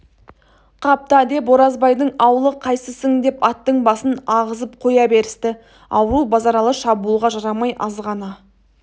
қапта деп оразбайдың аулы қайсысың деп аттың басын ағызып қоя берісті ауру базаралы шабуылға жарамай азғана